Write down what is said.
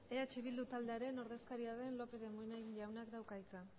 eh bildu taldearen ordezkaria den lópez de munain jaunak dauka hitza